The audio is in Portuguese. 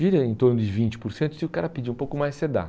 Vira em torno devinte por cento e se o cara pedir um pouco mais, você dá.